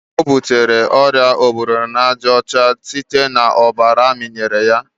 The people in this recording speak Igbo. ọ butere oria obirinajaọcha site na ọbara amịnyere ya.